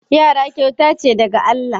Yara kyauta ce daga Allah.